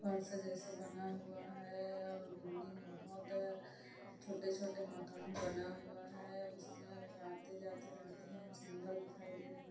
फर्श जैसा बना हुआ है और बिल्डिंग बहोत है छोटे छोटे मकान बना हुआ है उसमें आते जाते रहते है सुंदर दिखाई दे रही है।